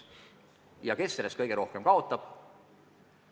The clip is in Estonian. Ja kes selle tõttu kõige rohkem kaotab?